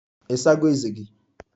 Ị sago ezé gị?